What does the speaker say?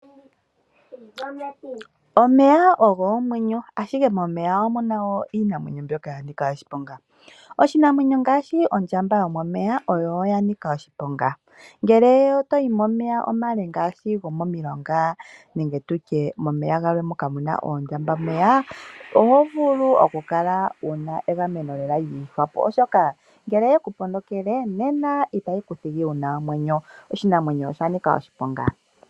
Omeya ogo omwenyo, ashike momeya omu na wo iinamwenyo ya nika oshiponga. Oshinamwenyo ngaashi ondjambameya oya nika oshiponga. Ngele to yi momeya omale ngaashi gomomilonga oho pumbwa okukala wu na egameno lyi ihwapo, oshoka ngele oye ku ponokele itayi ku thigi wu na omwenyo. Oshinamwenyo osha nika oshiponga.